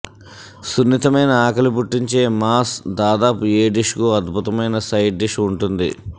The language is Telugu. సున్నితమైన ఆకలి పుట్టించే మాస్ దాదాపు ఏ డిష్ కు అద్భుతమైన సైడ్ డిష్ ఉంటుంది